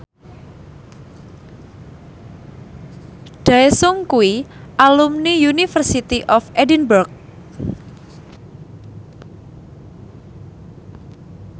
Daesung kuwi alumni University of Edinburgh